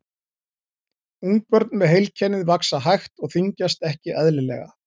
Ungbörn með heilkennið vaxa hægt og þyngjast ekki eðlilega.